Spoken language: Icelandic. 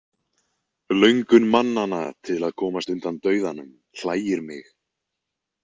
Löngun mannanna til að komast undan dauðanum hlægir mig.